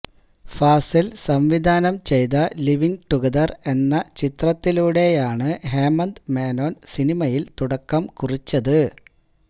ഫാസില് സംവിധാനം ചെയ്ത living together എന്ന ചിത്രത്തിലൂടെയാണ് ഹേമന്ത് മേനോന് സിനിമയില് തുടക്കം കുറിച്ചത്